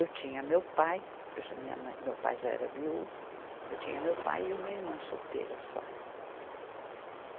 Eu tinha meu pai, eu já, minha mãe, meu pai já era viúvo, eu tinha meu pai e uma irmã solteira só.